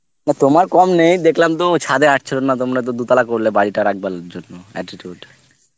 না তোমার কম নেই দেখলাম তো ছাদে আট ছিল না তোমরা তো দু দুতলা করলে বাড়িটা আর একবারের জন্য attitude